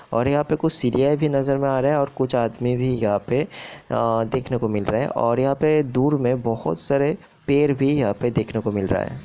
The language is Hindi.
--और यहाँ पे कुछ सीढ़ियां भी नजर मे आ रहा है और कुछ आदमी भी यहां पे अ देखने को मिल रहे है और यहां पे दूर मे बहुत सारे पेड़ भी यहाँ पे देखने को मिल रहा है।